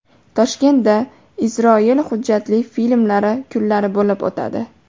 Toshkentda Isroil hujjatli filmlari kunlari bo‘lib o‘tadi.